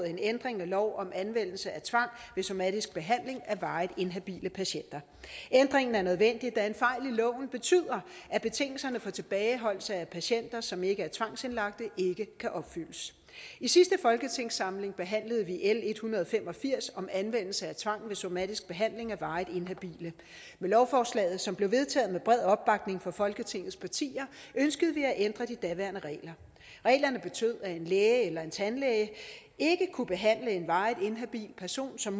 en ændring af lov om anvendelse af tvang ved somatisk behandling af varigt inhabile patienter ændringen er nødvendig da en fejl i loven betyder at betingelserne for tilbageholdelse af patienter som ikke er tvangsindlagte ikke kan opfyldes i sidste folketingssamling behandlede vi l en hundrede og fem og firs om anvendelse af tvang ved somatisk behandling af varigt inhabile og lovforslaget som blev vedtaget med bred opbakning fra folketingets partier ønskede vi at ændre de daværende regler reglerne betød at en læge eller en tandlæge ikke kunne behandle en varigt inhabil person som